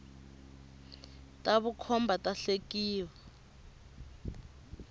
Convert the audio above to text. ta vukhomba ta hlekia